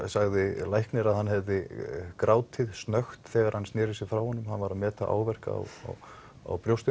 sagði læknir að hann hefði grátið snökt þegar hann sneri sér frá honum þegar hann var að meta áverka á brjóstinu